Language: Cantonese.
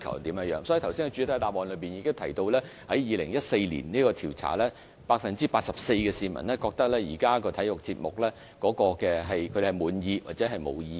就此，我剛才已在主體答覆中指出，在2014年的調查中 ，84% 的受訪者滿意現時的體育節目或對此表示沒有意見。